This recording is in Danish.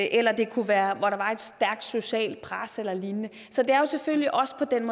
eller det kunne være hvor der var et stærkt socialt pres eller lignende så det er jo selvfølgelig også på den